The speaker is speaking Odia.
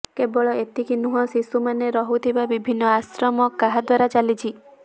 କେବଳ ଏତିକି ନୁହଁ ଶିଶୁ ମାନେ ରହୁଥିବା ବିଭିନ୍ନ ଆଶ୍ରମ କାହା ଦ୍ୱାରା ଚାଲିଛି